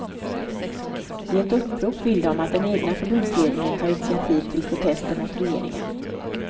I ett upprop vill de att den egna förbundsledningen tar initiativ till protester mot regeringen.